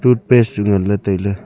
toothpaste chu ngan ley tai ley.